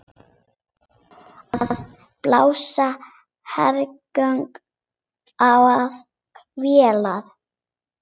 Við blasa hergögn og vélar.